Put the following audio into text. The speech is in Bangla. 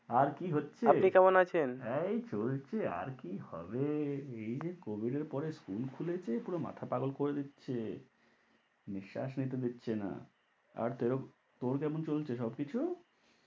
আর কী হচ্ছে? আপনি কেমন আছেন? এই চলছে আর কী হবে, এই যে COVID এর পরে school খুলেছে পুরো মাথা পাগোল করে দিচ্ছে, নিঃশ্বাস নিতে দিচ্ছে না। আর তোর কেমন চলছে সবকিছু?